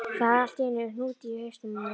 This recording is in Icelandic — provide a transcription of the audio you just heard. Það var allt í einum hnút í hausnum á mér.